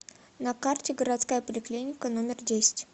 на карте городская поликлиника номер десять